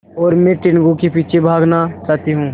और मैं टीनगु के पीछे भागना चाहती हूँ